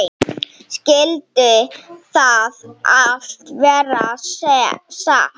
Skyldi það allt vera satt?